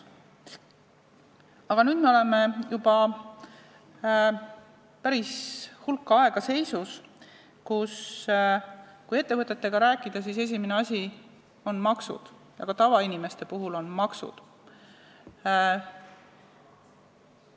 Aga nüüd me oleme juba päris hulk aega seisus, kus ettevõtjatega rääkides on esimene asi maksud ja ka tavainimeste puhul on tähtsad maksud.